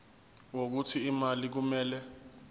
wokuthi imali kumele